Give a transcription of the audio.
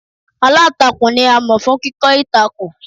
Aláǹtakùn ni a mọ̀ fún kíkọ́ ìtàkùn.